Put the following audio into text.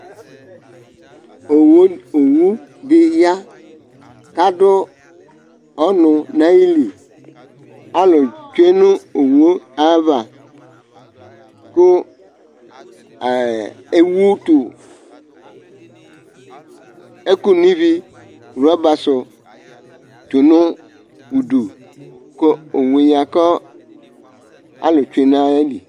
Owʊ dɩya ƙadʊ ɔŋʊ ŋaƴɩlɩ Alʊ tsʊe nʊ owʊ aƴaʋa kʊ ewʊ rɔɓa ɛƙʊ ŋɩʋɩ tʊ ŋʊɗʊ, owʊe ƴa kalʊ tsʊe ŋaƴɩlɩ